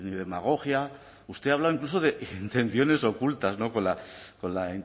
demagogia usted ha hablado incluso de intenciones ocultas con la